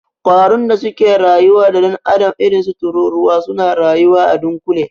Ƙwarun da suke rayuwa da dan'adam irinsu tururuwa, suna rayuwa a dunkule.